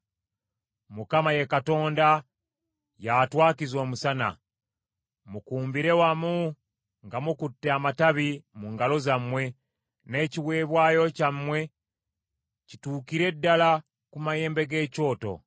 Mukama ye Katonda, y’atwakiza omusana. Mukumbire wamu nga mukutte amatabi mu ngalo zammwe n’ekiweebwayo kyammwe kituukire ddala ku mayembe g’ekyoto.